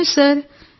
అవును సార్